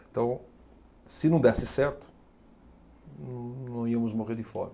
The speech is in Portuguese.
Então, se não desse certo, não íamos morrer de fome.